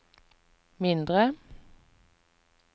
mindre